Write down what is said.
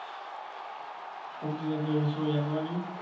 সবজি জাতীয় কিছু করনি?